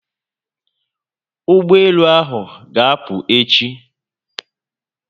Ụgbọelu ahụ ga'apụ echi